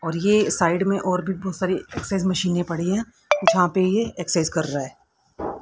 और ये साइड में और भी बहोत सारी एक्सरसाइज मशीने पड़ी हैं जहां पे ये एक्सरसाइज कर रहा--